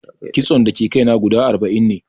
Kitson da ke kai na guda arba'in ne